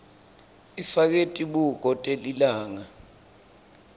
ifake tibuko telilanga